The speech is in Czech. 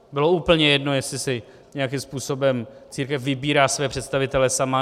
Bylo úplně jedno, jestli si nějakým způsobem církev vybírá své představitele sama.